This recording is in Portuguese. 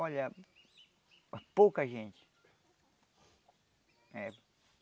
Olha, pouca gente. Eh